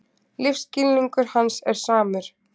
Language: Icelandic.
Lífsskilningur hans er samur.